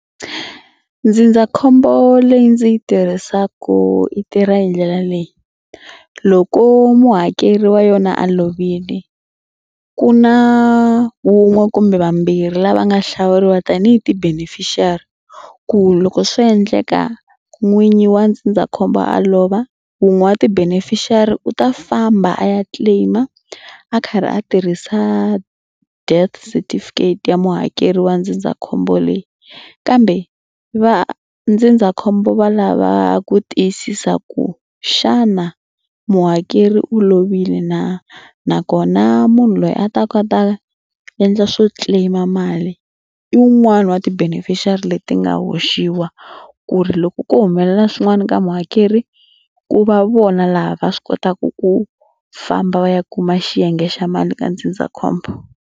Ndzindzakhombo leyi ndzi yi tirhisaka yi tirha hi ndlela leyi loko muhakeri wa yona a lovile ku na wun'we kumbe vambirhi lava nga hlawuriwa tanihi ti-beneficiary ku loko swo endleka n'winyi wa ndzindzakhombo a lova wun'we ti-beneficiary u ta famba a ya claim-a a karhi a tirhisa death certificate ya muhakeri wa ndzindzakhombo leyi kambe va ndzindzakhombo va lava ku tiyisisa ku xana muhakeri u lovile na nakona munhu loyi a taka a ta endla swo claim-a mali i wun'wani wa ti-beneficiary leti nga hoxiwa ku ri loko ko humelela swin'wana ka muhakeri ku va vona laha va swi kotaka ku famba va ya kuma xiyenge xa mali ka ndzindzakhombo.